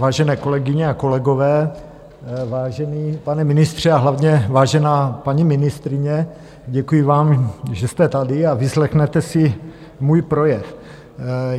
Vážené kolegyně a kolegové, vážený pane ministře a hlavně vážená paní ministryně, děkuji vám, že jste tady a vyslechnete si můj projev.